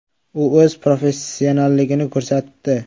U o‘z professionalligini ko‘rsatdi.